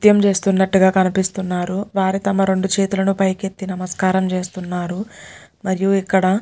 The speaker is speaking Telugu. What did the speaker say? నాట్యం చేస్తునట్టుగా కనిపిస్తున్నారువారు తమ రెండు చేతులు పైకి ఎత్తి నమస్కారం చేస్తున్నారు మరియు ఇక్కడ --.